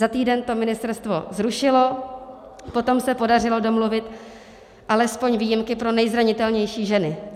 Za týden to ministerstvo zrušilo, potom se podařilo domluvit alespoň výjimky pro nezranitelnější ženy.